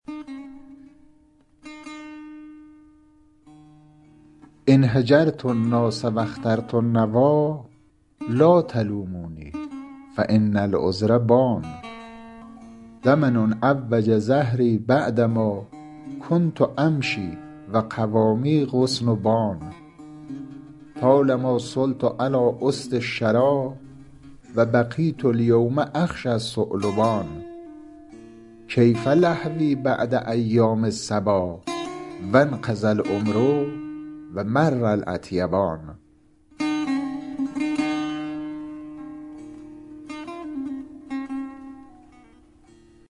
إن هجرت الناس و اخترت النویٰ لا تلوموني فإن العذر بان زمن عوج ظهري بعدما کنت أمشي و قوامی غصن بان طالما صلت علی أسد الشریٰ و بقیت الیوم أخشی الثعلبان کیف لهوي بعد أیام الصبا و انقضی العمر و مر الأطیبان